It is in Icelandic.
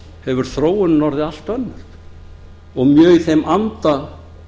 hefur þróunin orðið allt önnur og mjög í þeim anda